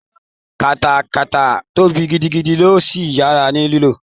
katakata tóbi gidigidi ó sì yára ní lílò